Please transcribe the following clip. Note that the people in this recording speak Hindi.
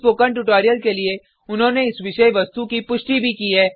इस स्पोकन ट्यूटोरियल के लिए उन्होंने इस विषय वस्तु की पुष्टि भी की है